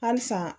Halisa